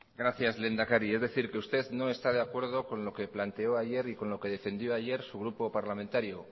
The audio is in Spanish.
gracias lehendakari es decir que usted no está de acuerdo con lo que planteó ayer y con lo que defendió ayer su grupo parlamentario